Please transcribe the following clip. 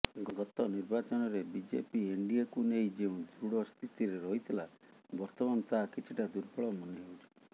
ଗତ ନିର୍ବାଚନରେ ବିଜେପି ଏନଡିଏକୁ ନେଇ ଯେଉଁ ଦୃଢ଼ ସ୍ଥିତିରେ ରହିଥିଲା ବର୍ତ୍ତମାନ ତାହା କିଛିଟା ଦୁର୍ବଳ ମନେହେଉଛି